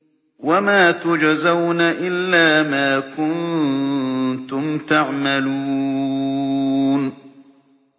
وَمَا تُجْزَوْنَ إِلَّا مَا كُنتُمْ تَعْمَلُونَ